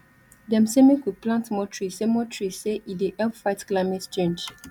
dem sey make we plant more trees say more trees sey e dey help fight climate change